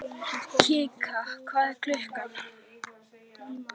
Kikka, hvað er klukkan?